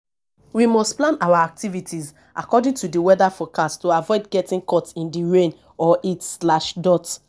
we must plan our activities according to di weather forecast to aviod getting caught in di rain or heat.